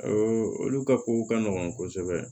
olu ka kow ka nɔgɔn kosɛbɛ